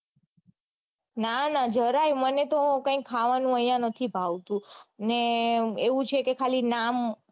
ના ના જરાય નઈ મને તો ખાવાનું અઇયા નથી ભાવતું અને એવું છે કે ખાલી નામ